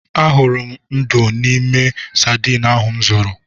Ahụrụ m ndú n'ime sadin ahụ m zụrụ.